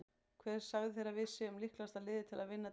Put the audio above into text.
Hver sagði þér að við séum líklegasta liðið til að vinna deildina?